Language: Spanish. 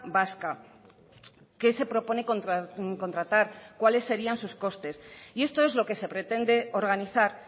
vasca qué se propone contratar cuáles serían sus costes y esto es lo que se pretende organizar